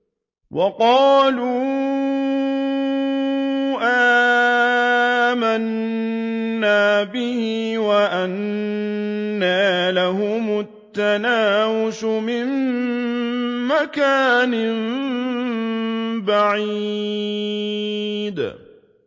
وَقَالُوا آمَنَّا بِهِ وَأَنَّىٰ لَهُمُ التَّنَاوُشُ مِن مَّكَانٍ بَعِيدٍ